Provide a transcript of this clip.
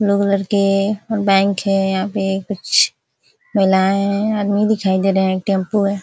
Bank हैं यहाँ पे कुछ महिलाएं आदमी दिखाई दे रहे हैं। यह टेम्पो है।